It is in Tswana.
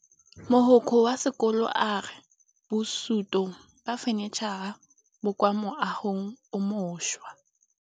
Mogokgo wa sekolo a re bosutô ba fanitšhara bo kwa moagong o mošwa.